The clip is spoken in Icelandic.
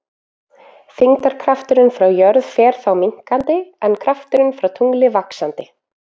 Þyngdarkrafturinn frá jörð fer þá minnkandi en krafturinn frá tungli vaxandi.